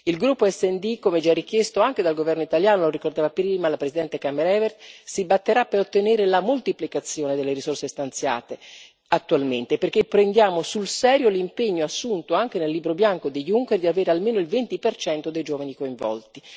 Il gruppo SD, come già richiesto anche dal Governo italiano lo ricordava la prima la Presidente Kammerevert si batterà per ottenere la moltiplicazione delle risorse stanziate attualmente, perché prendiamo sul serio l'impegno assunto, anche nel Libro bianco del Presidente Juncker, di avere almeno il 20 dei giovani coinvolti.